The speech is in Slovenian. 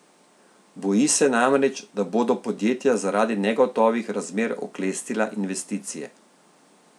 Boji se namreč, da bodo podjetja zaradi negotovih razmer oklestila investicije.